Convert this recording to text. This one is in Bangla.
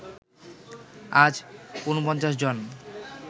আজ ৪৯ জন